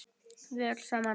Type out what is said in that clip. Við öll saman.